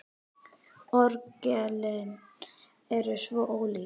Orgelin eru svo ólík.